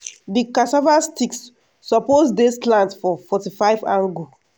di cassava sticks suppose dey slant for forty five angu.